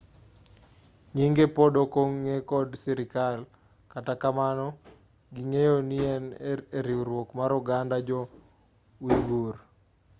nyinge pod ok ong'e kod sirkal kata kamano ging'eyo nien eriwruok mar oganda jo-uighur